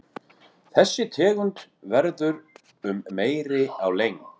þessi tegund verður um metri á lengd